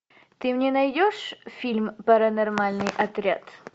ты мне найдешь фильм паранормальный отряд